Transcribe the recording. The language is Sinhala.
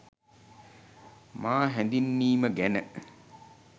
මා හැඳින්වීම ගැන